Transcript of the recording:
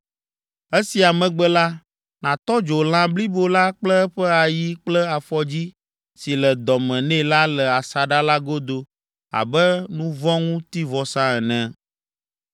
Esia megbe la, nàtɔ dzo lã blibo la kple eƒe ayi kple afɔdzi si le dɔ me nɛ la le asaɖa la godo abe nuvɔ̃ŋutivɔsa ene.